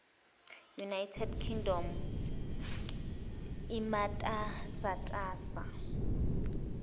united kingdom imatasatasa